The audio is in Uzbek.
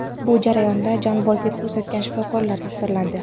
Bu jarayonda jonbozlik ko‘rsatgan shifokorlar taqdirlandi.